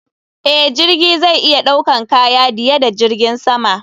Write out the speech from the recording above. Eh, jirgi zai iya ɗaukan kaya diye da jirgin sama.